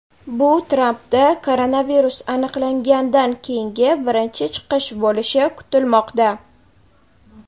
Bu Trampda koronavirus aniqlangandan keyingi birinchi chiqish bo‘lishi kutilmoqda.